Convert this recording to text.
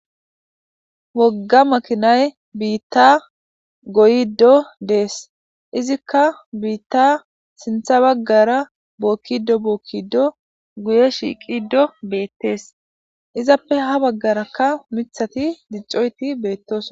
Wogga makinay biitta goyddo dees izikka biitta sintha baggara bookkido bookkido guye shiiqido beettees izappe ha baggarakka mithati diccoyti beettos.